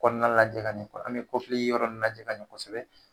Kɔnɔna lajɛ ka ɲɛ kɔsɛbɛ, an be yɔrɔ lajɛ ka ɲɛ kɔsɛbɛ.